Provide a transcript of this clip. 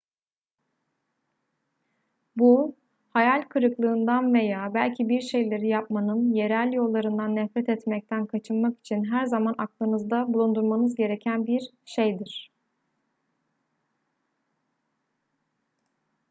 bu hayal kırıklığından veya belki bir şeyleri yapmanın yerel yollarından nefret etmekten kaçınmak için her zaman aklınızda bulundurmanız gereken bir şeydir